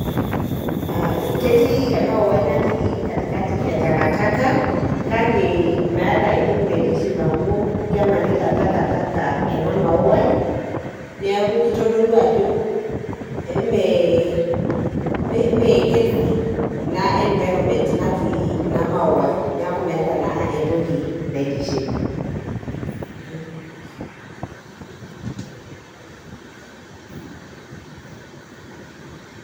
Ketii emauai natii katikati etakataka, kake meeta entoki naitiship amu kemanita takataka ena mauai, neeku kitodolu ajo me healthy ina environment natii ina mauai. Neku meeta naa entoki naitiship.